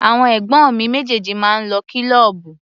Àwọn ẹ̀gbọ́n mi méjèèjì máa ń lọ kílọ́ọ̀bù.